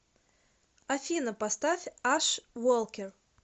афина поставь аш волкер